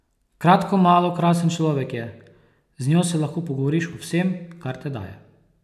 Kratko malo krasen človek je, z njo se lahko pogovoriš o vsem, kar te daje.